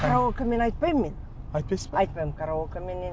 караокемен айтпаймын мен айтпайсыз ба айтпаймын караокеменен